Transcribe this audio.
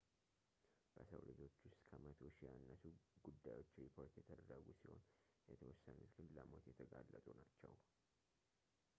በሰው ልጆች ውስጥ ከመቶ ሺህ ያነሱ ጉዳዮች ሪፖርት የተደረጉ ሲሆን የተወሰኑት ግን ለሞት የተጋለጡ ናቸው